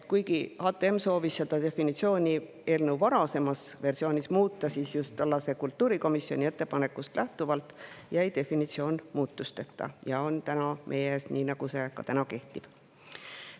Kuigi HTM soovis seda definitsiooni eelnõu varasemas versioonis muuta, siis jäi just tollase kultuurikomisjoni ettepanekust lähtuvalt definitsioon muutmata ja on täna meie ees nii, nagu see praegu kehtib.